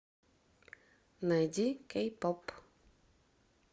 найди кей поп